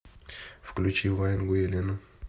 включи ваенгу елену